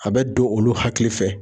A bɛ don olu hakili fɛ.